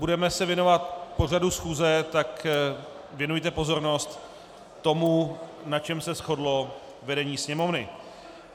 Budeme se věnovat pořadu schůze, tak věnujte pozornost tomu, na čem se shodlo vedení Sněmovny.